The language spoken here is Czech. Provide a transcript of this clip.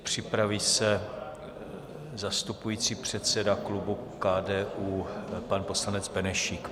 Připraví se zastupující předseda klubu KDU pan poslanec Benešík.